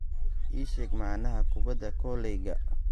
ii sheeg macnaha kubbadda koleyga